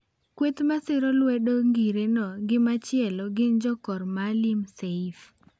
Kweth masiro lwedo ngireno gi machielo gin jo kor Maalim Seif.